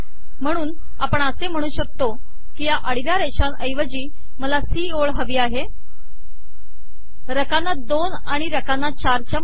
म्हणून आपण असे म्हणू शकतो की या आडव्या रेषांऐवजी मला सी ओळ हवी आहे रकाना 2 आणि रकाना 4 च्या मध्ये